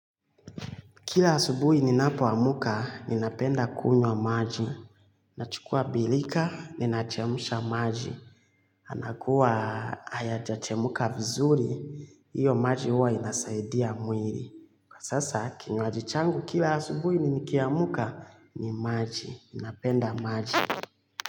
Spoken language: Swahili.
Kila asubuhi ninapo amka, ninapenda kunywa maji. Nachukua bilika, ninachemsha maji. Anakuwa hayaja chemuka vizuri, iyo maji huwa inasaidia mwiri. Kwa sasa, kinywaji changu kila asubuhi ninikiamka, ni maji. Ninapenda maji.